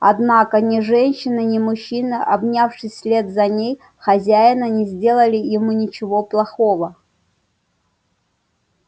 однако ни женщина ни мужчина обнявшись вслед за ней хозяина не сделали ему ничего плохого